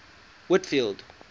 whitfield